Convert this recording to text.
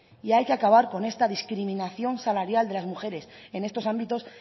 y hay que acabar con esta discriminación salarial de las mujeres en estos ámbitos